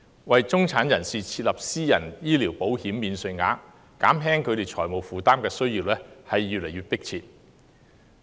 為中產人士設立"私人醫療保險免稅額"，減輕他們財務負擔的需要越見迫切。